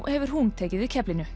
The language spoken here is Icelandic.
hefur hún tekið við keflinu